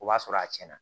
O b'a sɔrɔ a tiɲɛna